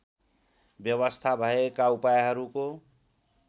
व्यवस्था भएका उपायहरूको